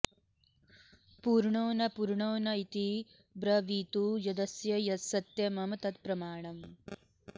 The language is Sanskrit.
पूर्णो न पूर्णो न इति ब्रवीतु यदस्य सत्यं मम तत्प्रमाणम्